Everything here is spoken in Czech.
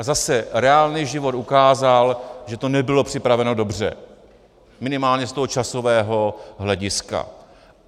A zase reálný život ukázal, že to nebylo připraveno dobře, minimálně z toho časového hlediska.